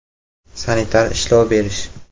Sanitar ishlov berish .